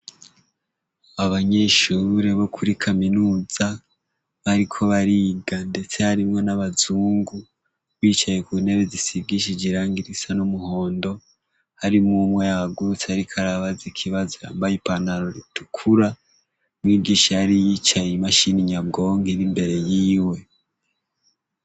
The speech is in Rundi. Abanyeshure bo kuri kaminuza bariko bariga ndetse harimwo n'abazungu bicaye kuntebe zisigishije irangi risa n'umuhondo harimw'umwe yahagurutse ariko arabaza ikibazo yambaye ipantaro itukura. Umwigisha yari yicaye imashini nyabwonko ir'imbere yiwe.